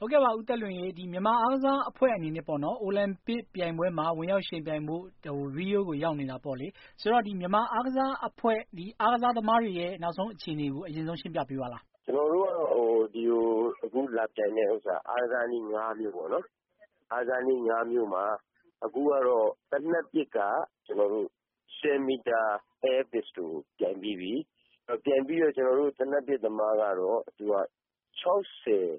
ဟုတ်ကဲ့ပါ ဦးသက်လွင်ရေ မြန်မာအားကစားအဖွဲ့အနေနဲ့ အိုလံပစ်မှာ ဝင်ရောက်ယှဉ်ပြိုင်ဖို့ Rio ကိုရောက်နေတယ်ပေါ့လေ။ ဆိုတော့ မြန်မာ အားကစားအဖွဲ့၊ အားကစားအဖွဲ့တွေရဲ့ နောက်ဆုံးအခြေအနေကို အရင်ဆုံးရှင်းပြပေးပါလား။ ကျနော်တို့ကတော့ အခုလာပြိုင်တာ အားကစားနည်း ၅ မျိုးပေါ့နော်။ အားကစားနည်း ၅ မျိုးမှာ သေနတ်ပစ်က ၁၀ မီတာ Air Pistol ကိုပြိုင်ပြီးပြီ။ ပြိုင်ပြီးတော့ ကျနော်တို့သေနတ်ပစ်သမားကတော့ လူ ၆၀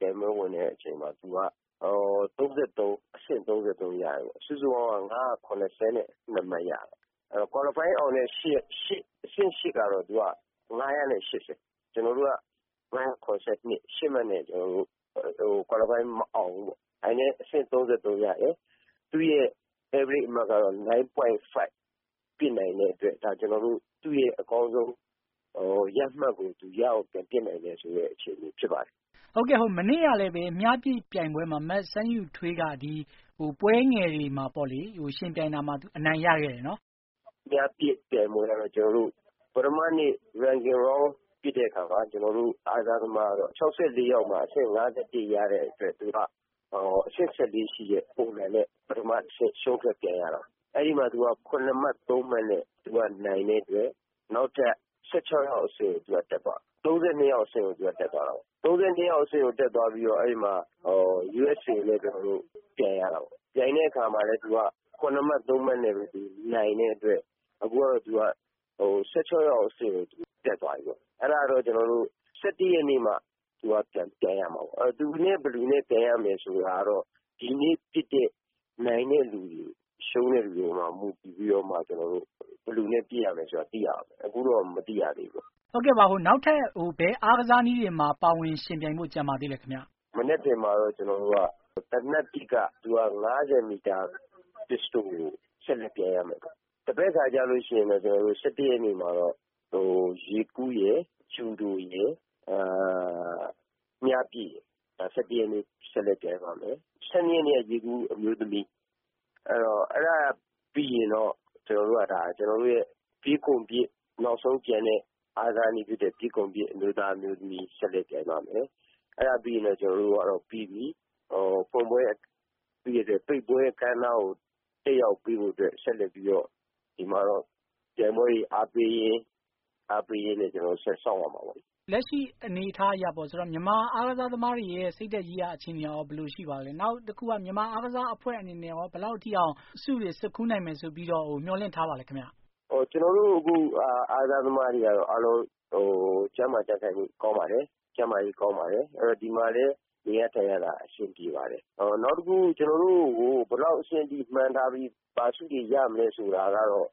ပြိုင်ပွဲဝင်တဲ့အချိန်မှာ အဆင့် ၃၃ ရတယ်ပေါ့။ စုစုပေါင်းက ၅၇၂ မှတ်ရတယ်။ အဲဒီတော့ ကွာလီဖိုင်းအောင်တဲ့ အဆင့် ကတော့ ၅၈၀ ။ ကျနော်တို့က ၅၇၂ မှတ်နဲ့ ၈ မှတ်နဲ့ ကွာလီဖိုင်းမအောင်ဘူးပေါ့နော် ။ ဒါပေမယ့် အဆင့် ၃၃ ရတယ်။ သူ့ average ကတော့ ၉.၅ ပစ်နိုင်တဲ့အတွက် ဒါဟာသူ့ရဲ့ အကောင်းဆုံးရမှတ်ကို သူရအောင်ပြန်ပစ်နိုင်တယ် အခြေအနေဖြစ်ပါတယ်။ ဟုတ်ကဲ့ မနေ့ကလည်း မြားပစ်ပြိုင်ပွဲမှာ မစန်းယုထွေး က ပွဲငယ်တွေမှာ ယှဉ်ပြိုင်ရာမှာ အနိုင်ရခဲ့တယ်ပေါ့နော်။ မြားပစ်ပြိုင်ပွဲကတော့ ကျနော်တို့ ပထမနေ့ ပစ်တဲ့အခါမှာ ၆၄ ယောက်မှာ အဆင့် ၅၁ ရတဲ့အတွက် သူက အဆင့် ၁၄ ရှိတဲ့ ပုံစံနဲ့ ပထမအဆင့် ရှုံးထွက်ပြိုင်ရတာပေါ့။ အဲဒီမှာ သူက ၇ မှတ် ၃ မှတ် နဲ့ နိုင်တဲ့အတွက် သူက နောက်ထပ် ၁၆ ယောက်အဆင့်ကိုတက်သွားတာပါ။ ၃၂ ယောက်အဆင့်ကိုတက်သွားတာပေါ့နော်။ ၃၂ ယောက်အဆင့်ကိုတက်သွားပြီးတော့ USA ကိုကျနော်တို့ ပြိုင်ရတာပေါ့နော်။ ပြိုင်တဲ့အခါမှာလည်း သူက ၇ မှတ် ၃ မှတ် နဲ့ နိုင်တဲ့အတွက် အခုကတော့ သူက ၁၆ ယောက်အဆင့်ကို သူတက်သွားပြီးပေါ့ ။ အဲဒါကတော့ ကျနော်တို့ ၁၁ ရက်နေ့မှ သူပြိုင်ရမှာပေါ့။ သူနဲ့ ဘယ်သူနဲ့ ပြိုင်ရမယ်ဆိုတာ ဒီနေ့ပစ်တဲ့ နိုင်တဲ့လူတွေ၊ ရှုံးတဲ့လူတွေမှာ မူတည်ပြီးတော့ ကျနော်တို့ ဘယ်သူနဲ့ ပစ်ရမယ်ဆိုတာ သိရမှာပေါ့နော်။ အခုတော့မသိရသေးဘူး။ ဟုတ်ကဲ့ပါ နောက်ထပ် ဘယ်အားကစားနည်းတွေမှာ ပါဝင်ယှဉ်ပြိုင်ဖို့ ကျန်ပါသေးသလဲခင်ဗျ။ မနက်ဖြန်မှာတော့ ကျနော်တို့က သေနတ်ပစ်ကတော့ ၅၀ မီတာ ပစ်စတိုကို ဆက်ပြိုင်ရမယ်။ တပတ်ခါမှာတော့ ၁၁ ရက်နေ့မှာတော့ ရေကူးရယ် ၊ ဂျူဒိုရယ်၊ မြားပစ်ရယ် ဒါ ၁၁ ရက်နေ့ ပြိုင်ရပါမယ်။ ၁၂ ရက်နေ့ကတော့ ရေကူးအမျိုးသမီး အဲဒါပြီးရင်တော့ ကျနော်တို့ရဲ့ နောက်ဆုံးကျန်တဲ့ အားကစားနည်းဖြစ်တဲ့ ပြေးခုန်ပစ် အမျိုးသား၊ အမျိုးသမီး ဆက်လက်ပြိုင်ပါ့မယ်။ အဲဒါပြီးရင်တော့ ကျနော်တို့ကတော့ ပြီးပြီ။ ပိတ်ပွဲအခမ်းအနားကို တက်ရောက်ဖို့အတွက် ဒီမှာတော့ ပြိုင်ပွဲတွေအားပေးရင်းနဲ့ ကျနော်တို့ ဆက်စောင့်ရမှာပေါ့လေ။ လက်ရှိအနေအထားအရ မြန်မာအားကစားသမားတွေရဲ့ စိတ်ဓါတ်ရေးရာ အားကစားအခြေအနေတွေ ဘယ်လိုရှိပါသလဲ ။ နောက် မြန်မာအားကစား အဖွဲ့တွေ အနေနဲ့ ဘယ်လောက်ထိအောင် ဆုတွေ ဆွတ်ခူးနိုင်မယ်ဆိုပြီး မျှော်လင့်ထားပါသလဲ။ ကျနော်တို့အားကစားသမားတွေကတော့ အားလုံး ကျန်းမာကြံ့ခိုင်မှုကောင်းပါတယ်။ ကျန်းမာရေးကောင်းပါတယ် ဒီမှာလည်း နေရထိုင်ရတာ အဆင်ပြေပါတယ်။ နောက်တခု ကျနော်တို့ကို ဘယ်လောက်အဆင့်အထိမှန်းထားပြီး ဘာဆုတွေရမယ်ဆိုတာတော့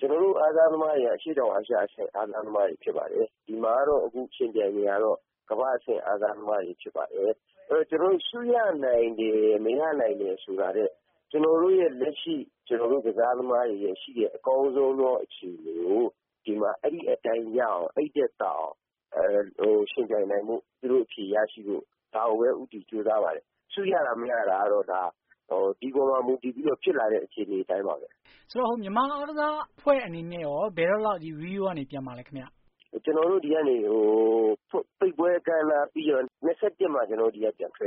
ကျနော်တို့အားကစားသမားတွေက အရှေ့တောင်အာရှအဆင့် အားကစားသမားတွေဖြစ်ပါတယ်။ ဒီမှာကတော့ ယှဉ်ပြိုင်နေတာကတော့ ကမ္ဘာ့အဆင့် အားကစားသမားတွေဖြစ်ပါတယ်။ ကျနော်တို့ ဆုရနိုင်တယ် မရနိုင်တယ်ဆိုတာထက် ကျနော်တို့ လက်ရှိရှိနေတဲ့ အားကစားသမားတွေရဲ့ အကောင်းဆုံးသောအခြေအနေကို ဒီမှာ အဲဒီအတိုင်းရအောင် ၊ အဲဒီထက်သာအောင် ယှဉ်ပြိုင်နိုင်ဖို့၊ အဖြေရရှိဖို့ ဒါကိုပဲ ဦးတည်ကြိုးစားပါတယ်။ ဆုရတာ မရတာကတော့ ဒီအပေါ်မှာ မူတည်ပြီးတော့ ဖြစ်လာတဲ့ အခြေအနေအတိုင်းပါပဲ။ ဆိုတော့ မြန်မာအားကစားသမားအဖွဲ့အနေနဲ့ကော ဘယ်တော့လောက် Rio ကနေပြန်မှာလဲ ခင်ဗျ။ ကျနော်တို့ ဒီကနေ ပိတ်ပွဲအခမ်းအနားပြီးရင် ၂၁ မှာ ဒီကနေ ပြန်ထွက်ရပါ